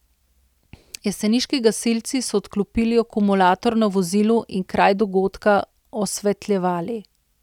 Jeseniški gasilci so odklopili akumulator na vozilu in kraj dogodka osvetljevali.